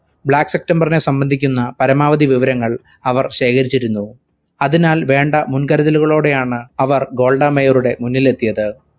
black september നെ സംബന്ധിക്കുന്ന പരമാവധി വിവരങ്ങൾ അവർ ശേഖരിചിരുന്നു. അതിനാൽ വേണ്ട മുന്കരുതുകളോടെയാണ് അവർ ഗോൾഡ മേയറുടെ മുന്നിലെത്തിയത്.